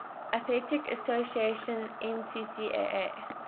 athletic association ncaa